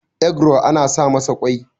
egro ana sa masa kwai